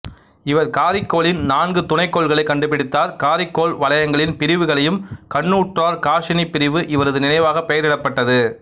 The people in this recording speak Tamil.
இவர் காரிக்கோளின் நான்கு துணைக்கோள்களைக் கண்டுபிடித்தார் காரிக்கோள் வலயங்களின் பிரிவுகளையும் கண்ணுற்றார் காசினிப் பிரிவு இவரது நினைவாகப் பெயர் இடப்பட்டது